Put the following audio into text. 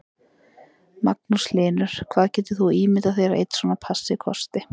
Magnús Hlynur: Hvað getur þú ímyndað þér að einn svona passi kosti?